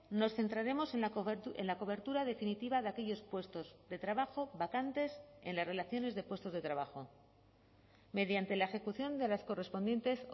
nos centraremos en la cobertura definitiva de aquellos puestos de trabajo vacantes en las relaciones de puestos de trabajo mediante la ejecución de las correspondientes